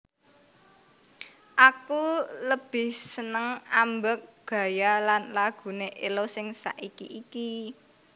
Aku lebih seneng ambek gaya lan lagune Ello sing saiki iki